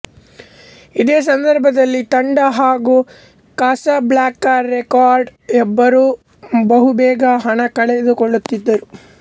ಇದೇ ಸಂದರ್ಭದಲ್ಲಿ ತಂಡ ಹಾಗು ಕಾಸಾಬ್ಲಾಂಕಾ ರೆಕಾರ್ಡ್ಸ್ ಇಬ್ಬರೂ ಬಹು ಬೇಗ ಹಣ ಕಳೆದುಕೊಳ್ಳುತ್ತಿದ್ದರು